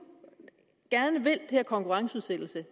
gerne vil det her konkurrenceudsættelse